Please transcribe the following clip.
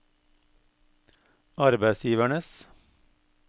arbeidsgivernes